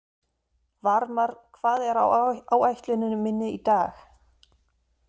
Varmar, hvað er á áætluninni minni í dag?